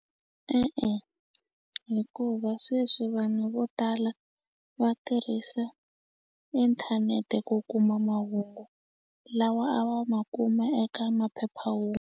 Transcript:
E-e hikuva sweswi vanhu vo tala va tirhisa inthanete ku kuma mahungu lawa a va ma kuma eka .